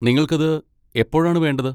നിങ്ങൾക്കത് എപ്പോഴാണ് വേണ്ടത്?